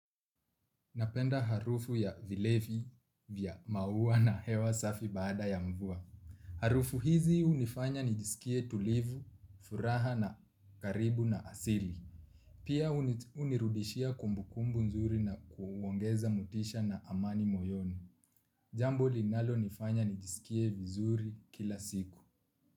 Napenda harufu ya vilevi vya maua na hewa safi baada ya mvua. Harufu hizi hunifanya nijisikie tulivu, furaha na karibu na asili. Pia hunirudishia kumbukumbu nzuri na kuongeza motisha na amani moyoni. Jambo linalonifanya nijisikie vizuri kila siku.